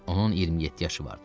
Onun 27 yaşı vardı.